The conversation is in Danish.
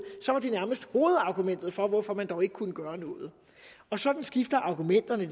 var det nærmest hovedargumentet for hvorfor man dog ikke kunne gøre noget og sådan skifter argumenterne